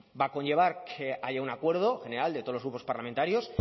va a conllevar que haya un acuerdo general de todos los grupos parlamentarios